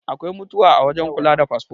Akwai mutuwa a wajen kula da fasfo